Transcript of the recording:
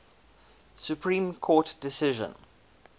supreme court decision